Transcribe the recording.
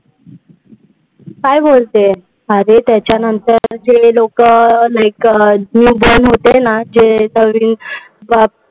काय बोलते? अरे त्याच्यानंतर ते लोकं like newborn होते ना जे नवीन